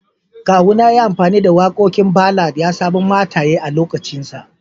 Kawuna ya yi amfani da wakokin ballad ya samu mataye a'lokacin sa.